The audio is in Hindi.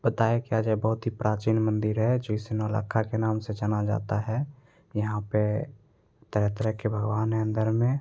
बताया क्या जाए बहुत ही प्राचीन मंदिर है जिसे नौलखा के नाम से जाना जाता है यहां पे तरह-तरह के भगवान है अंदर में।